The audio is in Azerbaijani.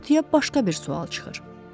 İndi ortaya başqa bir sual çıxır.